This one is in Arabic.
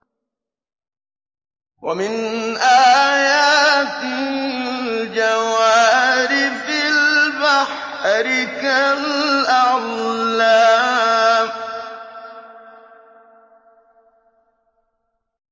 وَمِنْ آيَاتِهِ الْجَوَارِ فِي الْبَحْرِ كَالْأَعْلَامِ